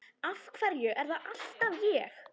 Af hverju er það alltaf ég?